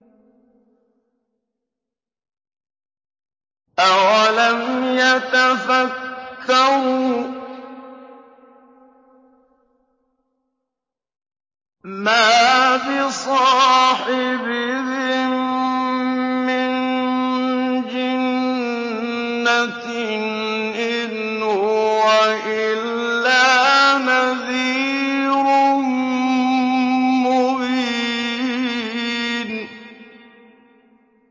أَوَلَمْ يَتَفَكَّرُوا ۗ مَا بِصَاحِبِهِم مِّن جِنَّةٍ ۚ إِنْ هُوَ إِلَّا نَذِيرٌ مُّبِينٌ